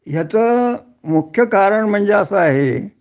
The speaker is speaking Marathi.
ह्याचं मुख्य कारण म्हणजे असं आहे